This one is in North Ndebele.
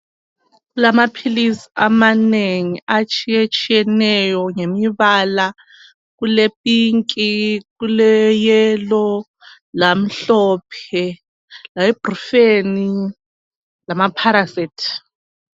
Kulamaphilizi amanengi atshiye tshiyeneyo ngemibala kule Pinki, kule Yelo lamhlophe leBrufeni lamaPharasethi.